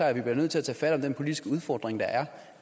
at vi bliver nødt til at tage fat om den politiske udfordring der